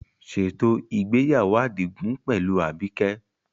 Ṣètò ìgbéyàwó Adigun pẹ̀lú Abike.